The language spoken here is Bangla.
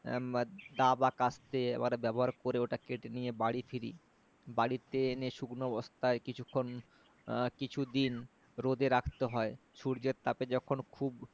এর দা বা কাস্তে এবার ব্যবহার করে ওটা কেটে নিয়ে বাড়ি ফিরি বাড়িতে এনে শুকনো বস্তায় কিছুক্ষন কিছু দিন রোদে রাখতে হয় সূর্যের টেপে যখন খুব